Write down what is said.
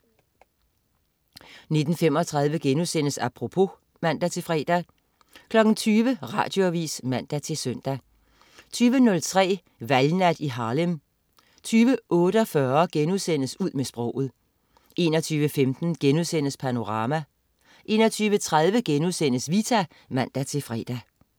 19.35 Apropos* (man-fre) 20.00 Radioavis (man-søn) 20.03 Valgnat i Harlem 20.48 Ud med sproget* 21.15 Panorama* 21.30 Vita* (man-fre)